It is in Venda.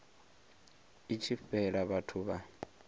i tshi fhela vhathu vha